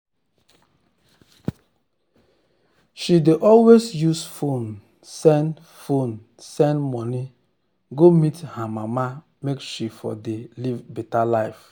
she dey always use fone send fone send money go meet her mama make she for de live beta life